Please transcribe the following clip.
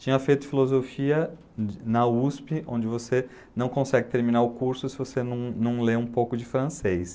Tinha feito filosofia na USP, onde você não consegue terminar o curso se você não não lê um pouco de francês.